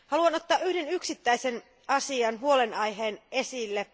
Haluan ottaa yhden yksittäisen asian, huolenaiheen, esille.